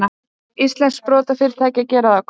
Íslenskt sprotafyrirtæki að gera það gott